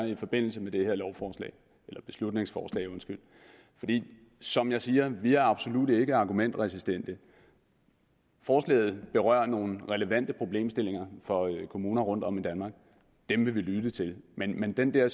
i forbindelse med det her beslutningsforslag som jeg siger er vi absolut ikke argumentresistente forslaget berører nogle relevante problemstillinger for kommuner rundtom i danmark dem vil vi lytte til men men den der